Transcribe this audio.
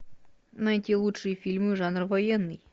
найти лучшие фильмы жанра военный